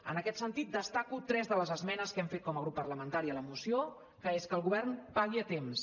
en aquest sentit destaco tres de les esmenes que hem fet com a grup parlamentari a la moció que és que el govern pagui a temps